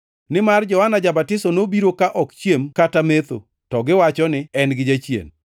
Nimar Johana Ja-Batiso nobiro ka ok ochiem kata metho, to giwacho ni, ‘En gi jachien.’